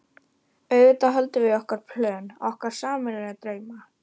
auðvitað höldum við í okkar plön, okkar sameiginlegu drauma.